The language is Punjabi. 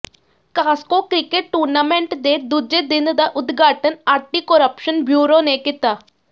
ਕਾਸਕੋ ਕ੍ਰਿਕਟ ਟੂਰਨਾਮੈਂਟ ਦੇ ਦੂਜੇ ਦਿਨ ਦਾ ਉਦਘਾਟਨ ਐਾਟੀ ਕੁਰੱਪਸ਼ਨ ਬਿਊਰੋ ਨੇ ਕੀਤਾ